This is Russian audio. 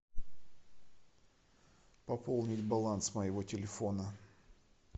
пополнить баланс моего телефона